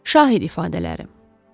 Şahid ifadələri.